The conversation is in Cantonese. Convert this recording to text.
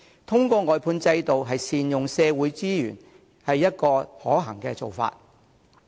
透過外判制度善用社會資源，是一個可行的做法。